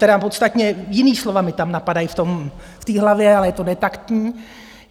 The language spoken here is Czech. Tedy podstatně jiná slova mě tam napadají v té hlavě, ale je to netaktní.